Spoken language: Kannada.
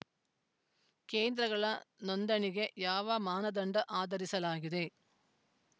ಕೇಂದ್ರಗಳ ನೋಂದಣಿಗೆ ಯಾವ ಮಾನದಂಡ ಆಧರಿಸಲಾಗಿದೆ